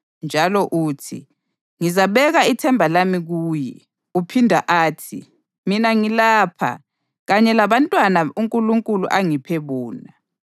Njalo uthi, “Ngizabeka ithemba lami kuye.” + 2.13 U-Isaya 8.17 Uphinda athi, “Mina ngilapha, kanye labantwana uNkulunkulu angiphe bona.” + 2.13 U-Isaya 8.18